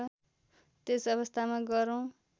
त्यस अवस्थामा गह्रौँ